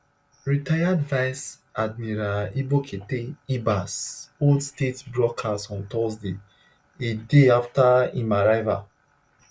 retired vice admiral ibokete ibas hold state broadcast on thursday a day after im arrival